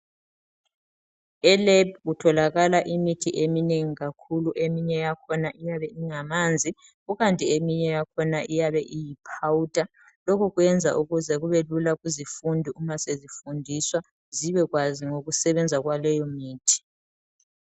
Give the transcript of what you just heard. Elebhu kutholakala imithi eminengi kakhulu. Eminye yakhona iyabe ingamanzi, ukanti eminye yakhona iyiphawuda lokhu kuyenza ukuze kubelula kuzifundi uma sezifundiswa zibekwazi ngokusebenza kwaleyo mithi.